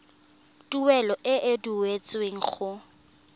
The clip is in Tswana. tuelo e e duetsweng go